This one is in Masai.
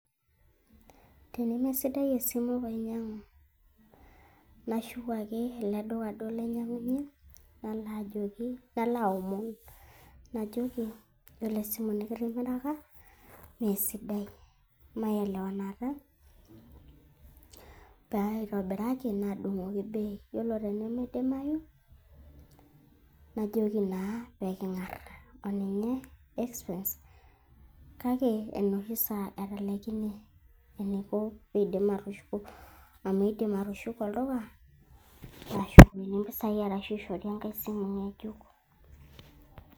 Temesiadai esimu painyiang'u, nashuk ake ele duka duo lainyiang'unyie, nalo ajoki nalo aomon najoki, yiolo esimu nikitimiraka meesidai, mayelewanata paitobiraki naadung'oki Bei yiolo peeimedimayu najoki naa peeking'arr oninye espens kake enoshi saa atalaikine eneiko Peidim atushuko amu eidimi atushuko olduka naashukokini impisai arashu aishori engae simu ng'ejuk.